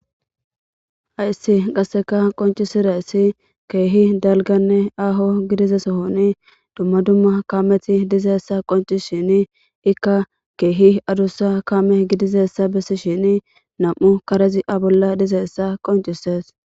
Hayssi qasseka qoncisiressi keehi dalganne aho gidizesohoni dumma dumma kaameti dizeessa qonci shini ikka keehi adussa kame gidizessa bessi shini nam'u karezi abolla dizeessa qoncisees